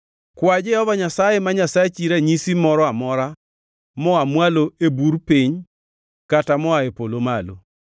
“Kwa Jehova Nyasaye ma Nyasachi ranyisi moro amora moa mwalo e bur piny kata moa e polo malo.”